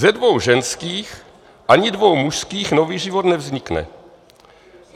"Ze dvou ženských ani dvou mužských nový život nevznikne.